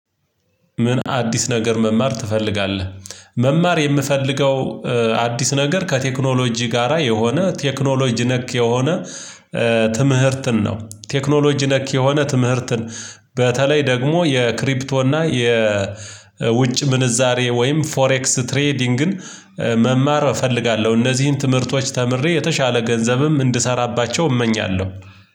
ምን አዲስ ነገር መማር ትፈልጋለህ? መማር የምፈልገው አዲስ ነገር ከቴክኖሎጂ ጋራ የሆነ ቴክኖሎጂ ነክ የሆነ ትምህርትን ነው። ቴክኖሎጂ ነክ የሆነ ትምህርትን በተለይ ደግሞ የክሪፕቶ እና የውጭ ምንዛሬ ወይም ፎሬክስ ትሬዲንግን መማር እፈልጋለሁ። እነዚህን ትምህርቶች ተምሬ የተሻለ ገንዘብም እንድሰራባቸው እመኛለሁ።